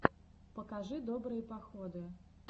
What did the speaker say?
покажи добрые походы